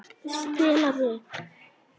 Ég skal stilla mig.